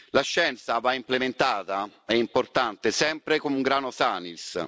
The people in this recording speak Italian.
La scienza va implementata, è importante sempre cum grano salis